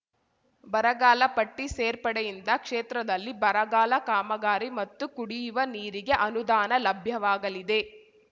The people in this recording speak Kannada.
ಬರಗಾಲ ಪಟ್ಟಿಸೇರ್ಪಡೆಯಿಂದ ಕ್ಷೇತ್ರದಲ್ಲಿ ಬರಗಾಲ ಕಾಮಗಾರಿ ಮತ್ತು ಕುಡಿಯುವ ನೀರಿಗೆ ಅನುದಾನ ಲಭ್ಯವಾಗಲಿದೆ